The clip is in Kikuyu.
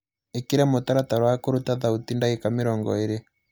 ĩkĩra mũtaratara wa kũrũta thaũti dagĩka mĩrongo ĩrĩ